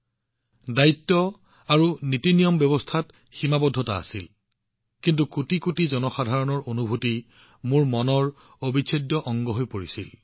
পদ আৰু প্ৰটোকল প্ৰণালীটোত সীমাৱদ্ধ হৈ থাকিল আৰু কোটি কোটি লোকৰ অনুভূতি মোৰ আভ্যন্তৰীণ পৃথিৱীৰ এক অবিচ্ছেদ্য অংশ হৈ পৰিছিল